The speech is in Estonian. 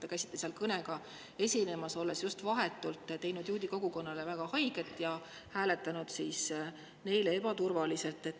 Te käisite seal kõnega esinemas, olnud just vahetult teinud juudi kogukonnale väga haiget ja hääletanud neile ebaturvaliselt.